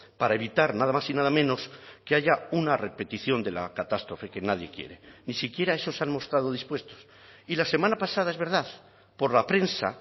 para evitar nada más y nada menos que haya una repetición de la catástrofe que nadie quiere ni siquiera a eso se han mostrado dispuestos y la semana pasada es verdad por la prensa